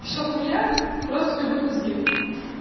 все хуйня просто поебут мозги